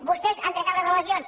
vostès han trencat les relacions